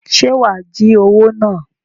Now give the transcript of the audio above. Ṣe wá jí owo náà?